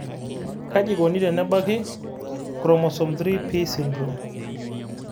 kaji ekoni tenebaki chromosome 3p syndrome?